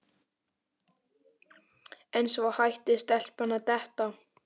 En svo hætti stelpan að detta.